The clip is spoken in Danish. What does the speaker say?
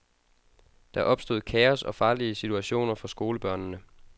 Der opstod kaos og farlige situationer for skolebørnene.